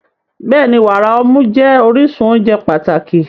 Bẹ́ẹ̀ni, wàrà ọmú jẹ́ orísun oúnjẹ pàtàkì.